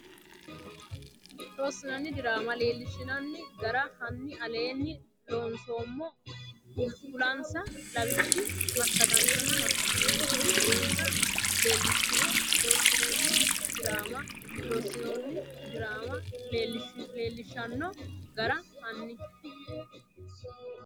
Loossinanni diraama loollshshanno gara hanni aleenni loonsummo kulinsa lawishshi massagaanchonna massagamaancho giddonsa leellishshine Loossinanni diraama Loossinanni diraama loollshshanno gara hanni.